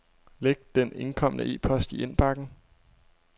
Læg den indkomne e-post i indbakken.